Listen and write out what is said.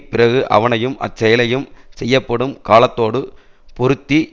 பிறகு அவனையும் அச்செயலையும் செய்யப்படும் காலத்தோடு பொருத்தி